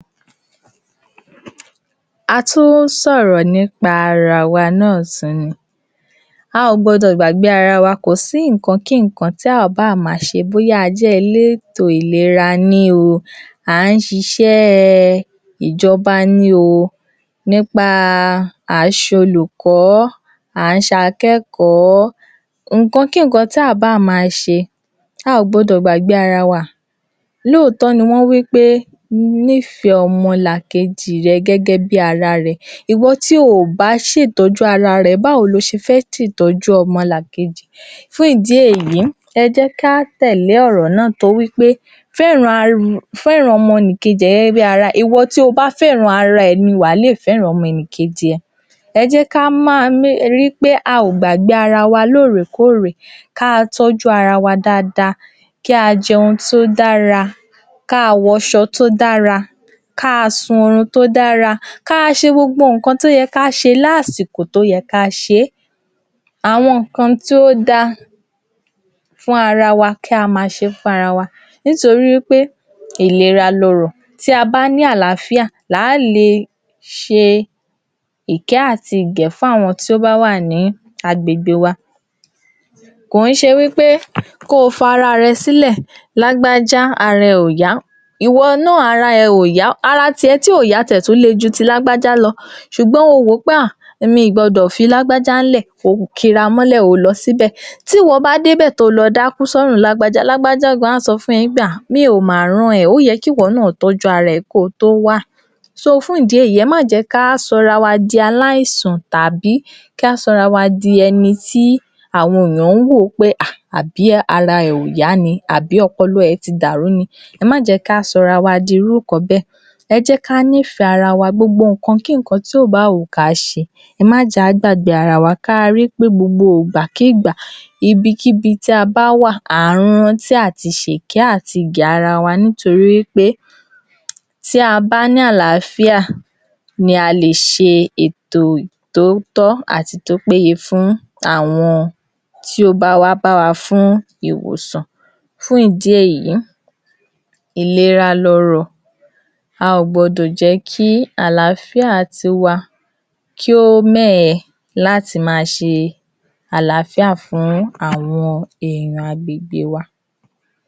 Ètò yìí wà fún àwọn tí ó bá ṣẹ̀ bímọ, eyi ni à ń pè ní kí a fún ọmọ wa l'ọ́mú, ní ìkan ṣoṣo ni oṣù mẹ́fà tí a bá kọ́kọ́ bí wọn. Ṣé ẹ rí ètò yíì yíì, ó jẹ́ ètò tí ó dára ṣùgbọ́n ó níra fún àwọn obìnrin-ìn míì tàbí àwọn ìyá láti ṣe fún ọmọ. Ẹlòmíràn a máa wí pé ah! ọmọ yẹn tí n jẹun jù ó ti fẹ́ fà mí gbẹ. A máa ní láti ní sùúrù pẹ̀lú àwọn ọmọ wa ni. Lóòótọ́, ọmọ́ yàtọ̀ sí ọmọ, ọmọ mìíràn n jẹun gidi, irú ọmọ bẹ́è àwa náà á rí i pé à ń jẹun tí ó dára sí àgọ́ ara wa láti lè máa rí àyè fún irú ọmọ bẹ́ẹ̀ lóúnjẹ, nítorí wí pé ètò kéèyàn fún ọmọ ní ọmú nìkan fún oṣù mẹ́fà jẹ́ ètò tí ó dára tóri ó máa ń mú kí orí ọmọ ó jí pépé. Yàtọ̀ sí èyí, ó máa ń fo̩ gbogbo àìsànkáìsàn tí ò bá wù kí ó fẹ́ ṣe ọmọ ní kékeré, ó máa ń fọ̀ ọ́ dànù. Ó máa ń mú kí ara wọn kí ó jọ̀lọ̀, kí ọpọlọ wọn kí ó jí pépé, kí àwọn gan-an ní ètò ìlera, like, kí inú wọn gan kí ó dùn, kí wọ́n jẹun, kí ọkàn wọn kí ó balẹ̀. Kí wọ́n lómi lára, kí ọmọ ṣe é gbé fúnyàn tééyàn bá rí ọmọ. Ṣùgbọ́n ọmọ tí ó jé̩̣ pé ẹ ti fi oúnjẹ ìmí fẹ̀ ẹ́ níkùn ẹ wá ní ó ń jẹun kò sígbà tírú ọmọ bẹ́ẹ̀ ò ní máa jẹun. Nítorí pé ẹ̀ ń mu kọ́stáàdì ẹ̀ ń fún bébì ọmọ, à ń fún ọmọ ìkókó o̩mo̩ oṣù kan oṣù méjì ní custard, torí kí ni? Kò yẹ kó rí bẹ́ẹ̀. So, fún ìdí èyí kí a rọ àwọn ìyá wa kí wọ́n jòọ́ kí wọ́n máa fún àwọn ọmọ wọn ní tí ó wà láàrin oṣù kan sí oṣù méjì, tàbí láti ọjọ́ tí wọ́n ṣáà ti bí wọn títí wọ́n ma fi tó oṣù mẹ́fà gbáko, kí wọn fún wọn ní omu nìkan mu nítorí ètò yìí dáradára, ó dára gidi gan-an fún àwọn ọmọ wa. Nítorí ìgbà tí wọ́n bá dàgbà tí wọ́n bẹ̀rẹ̀ sí ní yàn tí wọ́n ń yanjú, ògo wa náà ni wọ́n jẹ́. Inú wa náà yóò máa dùn, ayọ̀ wa yóò máa kún. Ọlọ́run á ràn wá lọ́wọ́ lórí ẹ̀ kò ní fi niwá lára o, gbogbo bí á ṣe tọ́ wọn Ọlọ́run á máa ṣe àánú fún wa, kò ní jẹ́ ká kábàámọ̀ lórí ọmọ, àbíyè lọmọ wa o.